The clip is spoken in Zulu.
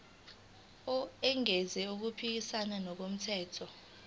engenzi okuphikisana nomthetho